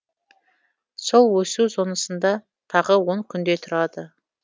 сол өсу зонасында тағы он күндей тұрады